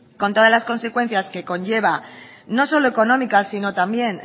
con todas las consecuencias que conlleva no solo económicas sino también